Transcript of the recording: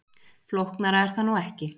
Flóknara er það nú ekki.